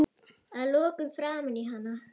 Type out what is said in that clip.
Að lokum framan í hana.